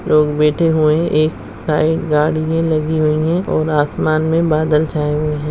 लोग बैठे हुए हैं एक साइड गाड़ियाँ लगी हुई हैं और आसमान में बादल छाए हुए हैं।